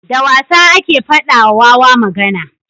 da wasa ake fada wa wawa magana